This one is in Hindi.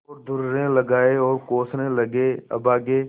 और दुर्रे लगाये और कोसने लगेअभागे